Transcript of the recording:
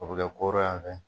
O be kɛ koro y'an fɛ